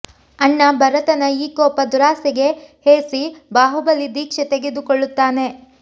ಅಣ್ಣ ಭರತನ ಈ ಕೋಪ ದುರಾಸೆಗೆ ಹೇಸಿ ಬಾಹುಬಲಿ ದೀಕ್ಷೆ ತೆಗೆದು ಕೊಳ್ಳುತ್ತಾನೆ